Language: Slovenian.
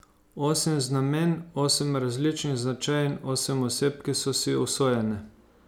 Osem znamenj, osem različnih značajev in osem oseb, ki so si usojene.